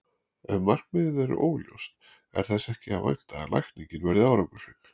Ef markmiðið er óljóst er þess ekki að vænta að lækningin verði árangursrík.